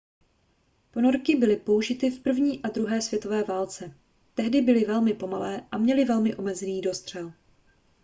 ponorky byly použity v první a druhé světové válce tehdy byly velmi pomalé a měly velmi omezený dostřel